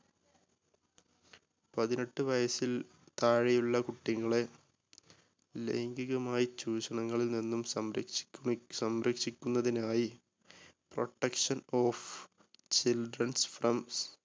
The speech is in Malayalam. പതിനെട്ട് വയസ്സിൽ താഴെയുള്ള കുട്ടികളെ ലൈംഗികമായ ചൂഷണങ്ങളിൽ നിന്നും സംരക്ഷിക്കു സംരക്ഷിക്കുന്നതിനായി protection of children's from